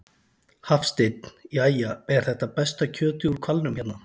Hafsteinn: Jæja, er þetta besta kjötið úr hvalnum hérna?